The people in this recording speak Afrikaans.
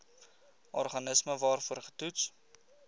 organisme waarvoor getoets